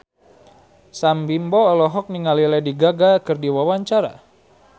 Sam Bimbo olohok ningali Lady Gaga keur diwawancara